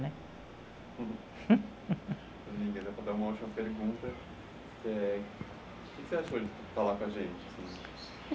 né? para dar uma última pergunta, o que você achou de falar com a gente, assim?